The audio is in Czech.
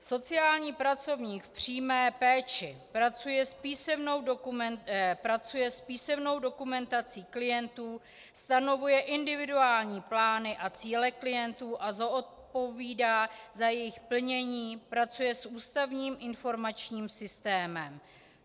Sociální pracovník v přímé péči pracuje s písemnou dokumentací klientů, stanovuje individuální plány a cíle klientů a zodpovídá za jejich plnění, pracuje s ústavním informačním systémem.